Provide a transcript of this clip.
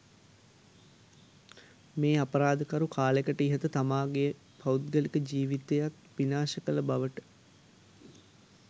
මේ අපරාධකරු කාලෙකට ඉහත තමාගේ පෞද්ගලික ජීවිතයත් විනාශ කල බවට.